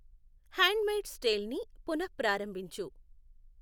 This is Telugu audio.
హ్యాండ్ మెయిడ్స్ టేల్ ని పునఃప్రారంభించు.